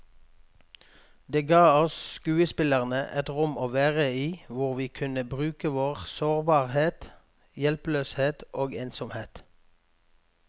Det ga oss skuespillere et rom å være i hvor vi kunne bruke vår sårbarhet, hjelpeløshet og ensomhet.